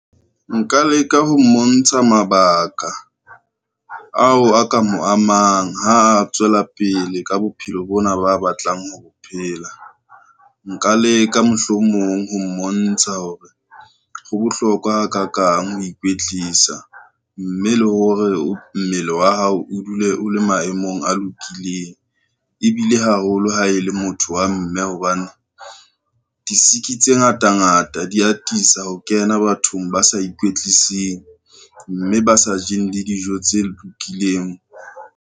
Nka leka ho mmontsha mabaka, ao a ka mo amang ha a tswela pele ka bophelo bona ba batlang ho bophela. Nka leka mohlomong ho mmontsha hore, ho bohlokwa ha kakang ho ikwetlisa mme le hore mmele wa hao o dule o le maemong a lokileng, ebile haholo ha e le motho wa mme hobane disiki tse ngata ngata di atisa ho kena bathong ba sa ikwetliseng, mme ba sa jeng le dijo tse lokileng.